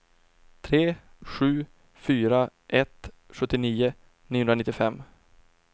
tre sju fyra ett sjuttionio niohundranittiofem